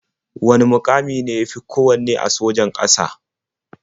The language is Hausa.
Wane muƙami ne ya fi kowanne a sojan ƙasa?